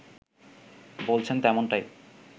বলছেন তেমনটাই